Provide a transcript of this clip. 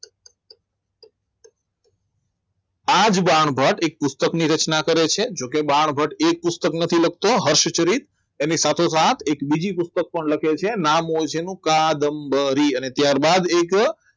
આજ બાણભટ્ટ એક પુસ્તકની રચના કરે છે તો કે બાણભટ્ટ એક પુસ્તક નથી લખતો હર્ષચરિત એને સાથો સાથ એક બીજી પોષક પણ લખે છે નામ હોય છે એનું કાદમ્બરી અને ત્યારબાદ એ